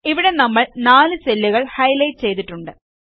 ഇവിടെ നമ്മൾ 4 സെല്ലുകൾ ഹൈലൈറ്റ് ചെയ്തിട്ടുണ്ട്